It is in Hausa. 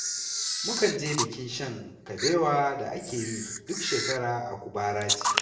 Mukan je bikin shan kabewa da ake yi duk shekara a Kubaraci.